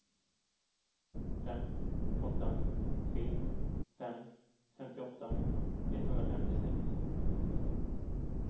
fem åtta tre fem femtioåtta etthundrafemtiosex